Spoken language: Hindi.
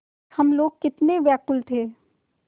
हम लोग कितने व्याकुल थे